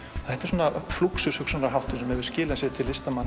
þetta er flúxushugsunarháttur sem hefur skilað sér til listamanna